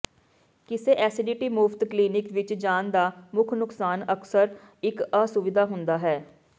ਕਿਸੇ ਐਸਟੀਡੀ ਮੁਫ਼ਤ ਕਲੀਨਿਕ ਵਿੱਚ ਜਾਣ ਦਾ ਮੁੱਖ ਨੁਕਸਾਨ ਅਕਸਰ ਇੱਕ ਅਸੁਵਿਧਾ ਹੁੰਦਾ ਹੈ